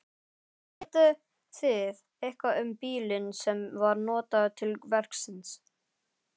Vitið þið eitthvað um bílinn sem var notaður til verksins?